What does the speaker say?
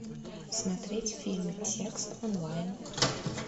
смотреть фильм текст онлайн